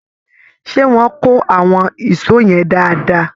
Ṣé wọ́n kó àwọn ìṣọ́ yẹn dáadáa?